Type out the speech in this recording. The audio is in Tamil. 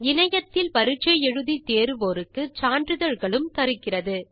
இணையத்தில் பரிட்சை எழுதி தேர்வோருக்கு சான்றிதழ்களும் தருகிறது